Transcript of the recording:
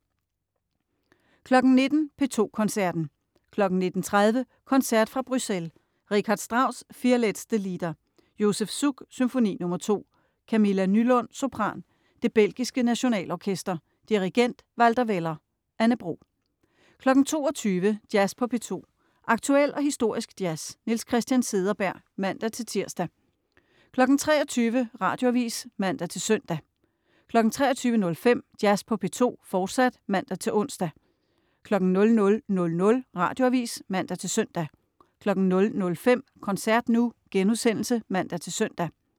19.00 P2 Koncerten. 19.30 Koncert fra Bruxelles. Richard Strauss: Vier letzte Lieder. Josef Suk: Symfoni nr. 2. Camilla Nylund, sopran. Det belgiske Nationalorkester. Dirigent: Walter Weller. Anne Bro 22.00 Jazz på P2. Aktuel og historisk jazz. Niels Christian Cederberg (man-tirs) 23.00 Radioavis (man-søn) 23.05 Jazz på P2, fortsat (man-ons) 00.00 Radioavis (man-søn) 00.05 Koncert nu* (man-søn)